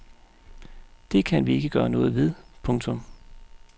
Det kan vi ikke gøre noget ved. punktum